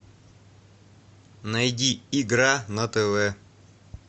найди игра на тв